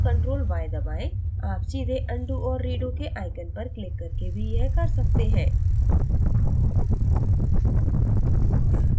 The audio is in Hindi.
आप सीधे undo और redo के आइकॉन पर click करके भी यह कर सकते हैं